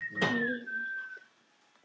Mér líður vel í dag